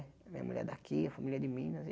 Minha mulher é daqui, a família é de Minas e.